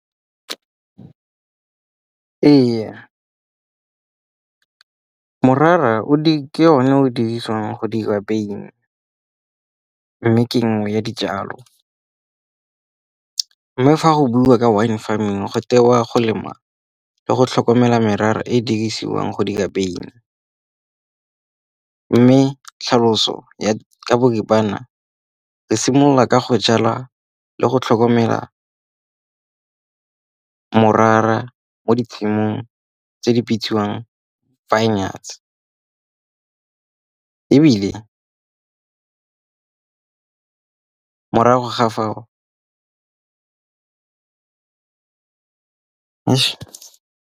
Ee, morara ke o ne o dirisiwang go dira wyn mme ke nngwe ya dijalo. Mme fa go buiwa ka wine farming, go tewa go lema le go tlhokomela merara e e dirisiwang go di ka wyn. Mme tlhaloso ka boripana re simolola ka go jalwa le go tlhokomela morara mo di tshimong tse di bitsiwang vineyards ebile morago ga fao .